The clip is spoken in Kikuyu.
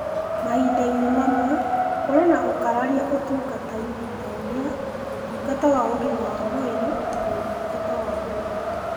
Mahinda-inĩ mamwe, kũrĩ na ũkararia ũtungata-inĩ (ta ũrĩa) Ũtungata wa Ũgima wa Mwĩrĩ na Ũtungata wa Wĩra.